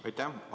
Aitäh!